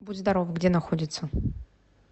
будь здоров где находится